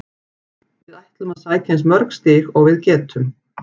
Við ætlum að sækja eins mörg stig og við getum.